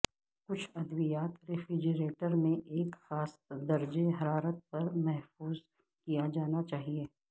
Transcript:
کچھ ادویات ریفریجریٹر میں ایک خاص درجہ حرارت پر محفوظ کیا جانا چاہیے